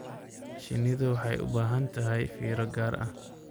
Shinnidu waxay u baahan tahay fiiro gaar ah.